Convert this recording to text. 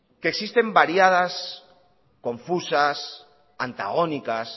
existen variadas confusas antagónicas